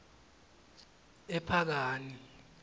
ephakani